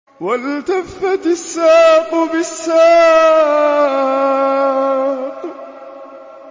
وَالْتَفَّتِ السَّاقُ بِالسَّاقِ